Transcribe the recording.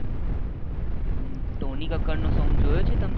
સોની કક્કર નો સોંગ જોયો છે તમે